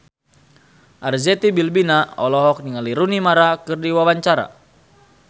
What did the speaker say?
Arzetti Bilbina olohok ningali Rooney Mara keur diwawancara